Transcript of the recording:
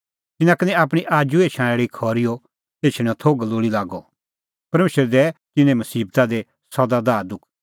तिन्नां का निं आपणीं आजू एछणैं आल़ी खरी एछणेंओ थोघ लोल़ी लागअ परमेशर दैए तिन्नें मसीबता दी सदा दाहदुख